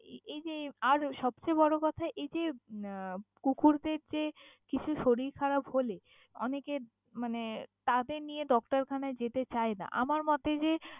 এই যে আর সবচেয়ে বড়ো কথা এই যে উম কুকুরদের যে কিছু শরীর খারাপ হলে অনেকে মানে তাদের নিয়ে Doctor khana নিয়ে যেতে চায় না, আমার মতে যে।